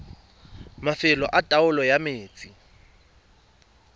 mafelo a taolo ya metsi